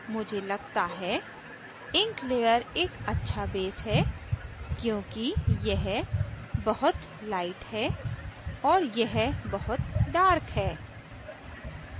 मुझे लगता है ink layer एक अच्छा base है क्योंकि यह बहुत light है और यह बहुत dark है